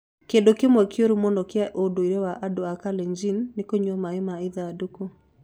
Kĩndũ kĩmwe kĩũru mũno kĩa ũndũire wa andũ a Kalenjin nĩ kũnyua maĩ ma ithandũkũ.